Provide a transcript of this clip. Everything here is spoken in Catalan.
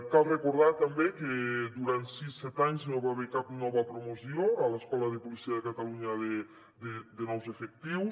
cal recordar també que durant sis set anys no hi va haver cap nova promoció a l’escola de policia de catalunya de nous efectius